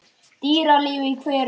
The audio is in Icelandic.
Dýralíf í hverum